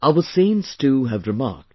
Our saints too have remarked